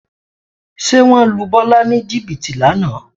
Ṣé wọ́n lu Bọ́lá ní jìbìtì lánàá?